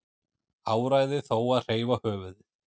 Áræði þó að hreyfa höfuðið.